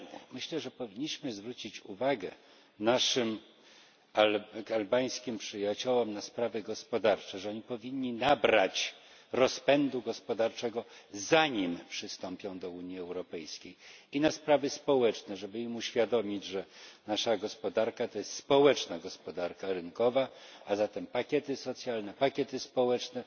Myślę, że powinniśmy zwrócić uwagę naszym albańskim przyjaciołom na sprawy gospodarcze że powinni nabrać rozpędu gospodarczego, zanim przystąpią do Unii Europejskiej i na sprawy społeczne żeby im uświadomić, że nasza gospodarka to społeczna gospodarka rynkowa, a zatem pakiety socjalne, pakiety społeczne,